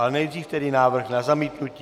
Ale nejdřív tedy návrh na zamítnutí.